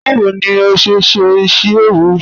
Bawo ni o ṣe n ṣe isi-ewu?